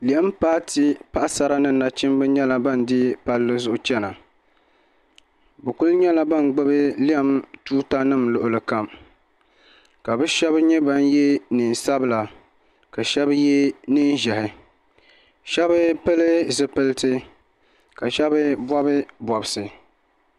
Lɛm paati paɣasara ni nachimba nyɛla ban deeyi palli zuɣu chana bi kuli nyɛla ban gbubi lɛm tuuta nim luɣuli kam ka bi shɛba nyɛ ban yɛ niɛn sabila ka shɛba yɛ niɛn ʒiɛhi shɛba pili zipiliti ka shɛba bɔbi bɔbsi.